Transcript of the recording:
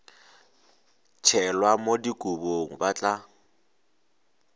tšhelwa mo dikobong ba tla